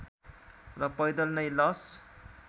र पैदल नै लस